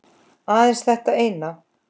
Aðeins þetta eina